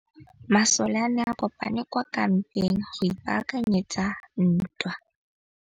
Masole a ne a kopane kwa kampeng go ipaakanyetsa ntwa.